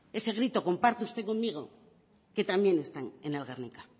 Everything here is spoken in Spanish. ese grito comparte usted conmigo que también está en el guernica